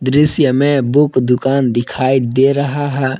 जैसी हमें बुक दुकान दिखाई दे रहा है।